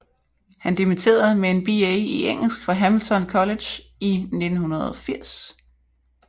Han dimitterede med en BA i engelsk fra Hamilton College i 1980